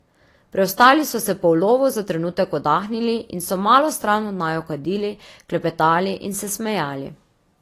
Preostali so se po ulovu za trenutek oddahnili in so malo stran od naju kadili, klepetali in se smejali.